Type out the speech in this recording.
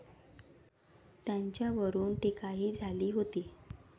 त्याच्यावरून टीकाही झाली होती.